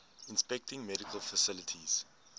inspecting medical facilities